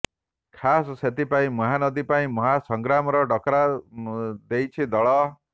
ଖାସ୍ ସେଥିପାଇଁ ମହାନଦୀ ପାଇଁ ମହାସଂଗ୍ରାମର ଡାକରା ଦେଇଛି ଦଳ